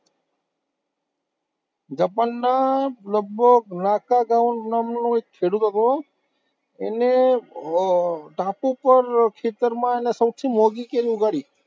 જાપાનના લગભગ નામનો એક ખેડૂત હતો, એને ધાતુ પર ખેતરમાં સૌથી મોંઘી કેરી ઉગાડી.